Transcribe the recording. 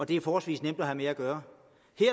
det er forholdsvis nemt at have med at gøre